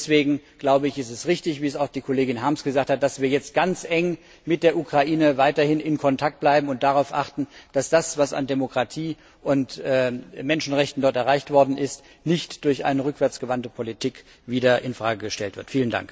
Und deswegen ist es richtig, wie es auch die Kollegin Harms gesagt hat, dass wir jetzt ganz eng mit der Ukraine weiterhin in Kontakt bleiben und darauf achten, dass das, was an Demokratie und Menschenrechten dort erreicht worden ist, nicht durch eine rückwärts gewandte Politik wieder in Frage gestellt wird.